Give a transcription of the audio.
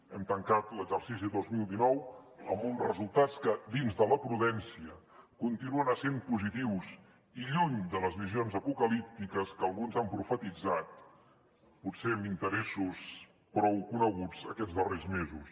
hem tancat l’exercici dos mil dinou amb uns resultats que dins de la prudència continuen essent positius i lluny de les visions apocalíptiques que alguns han profetitzat potser amb interessos prou coneguts aquests darrers mesos